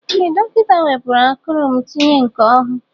Ee dọkịta wepụrụ akụrụ m tinye nke ọhụụ.